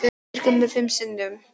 Strýkur mér fimm sinnum.